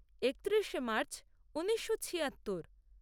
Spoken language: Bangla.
একত্রিশে মার্চ ঊনিশো ছিয়াত্তর